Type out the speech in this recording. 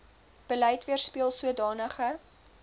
beleid weerspieel sodanige